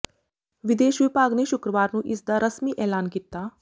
ਵਿਦੇਸ਼ ਵਿਭਾਗ ਨੇ ਸ਼ੁੱਕਰਵਾਰ ਨੂੰ ਇਸ ਦਾ ਰਸਮੀ ਐਲਾਨ ਕੀਤਾ